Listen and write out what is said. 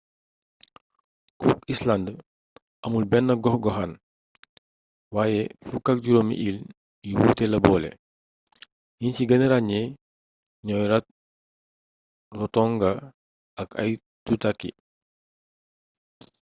cook islands amul benn gox-goxaan waaye 15 iil yu wuute la boole yiñ ci gëna ràññee ñooy rarotonga ak aitutaki